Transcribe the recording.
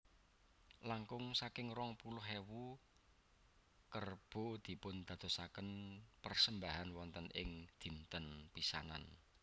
Langkung saking rong puluh ewu kerbo dipundadosaken persembahan wonten ing dinten pisanan